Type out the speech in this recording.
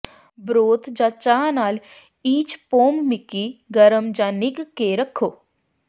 broth ਜਾਂ ਚਾਹ ਨਾਲ ਈਚਪੋਮਮੀਕੀ ਗਰਮ ਜਾਂ ਨਿੱਘ ਕੇ ਰੱਖੋ